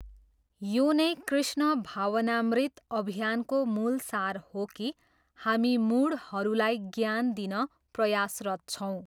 यो नै कृष्ण भावनामृत अभियानको मूल सार हो कि हामी मुढहरूलाई ज्ञान दिन प्रयासरत छौँ।